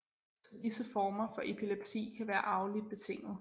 Så disse former for epilepsi kan være arveligt betinget